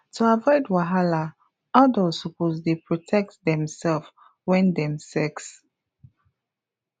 to avoid wahala adults suppose dey protect demself when dem sex